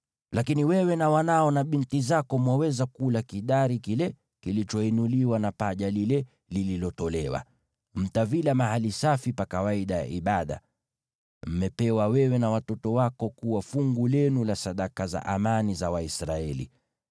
Lakini wewe na wanao na binti zako mwaweza kula kidari kile kilichoinuliwa na paja lile lililotolewa. Mtavila mahali safi pa kawaida ya ibada; mmepewa wewe na watoto wako kuwa fungu lenu la sadaka za amani za Waisraeli.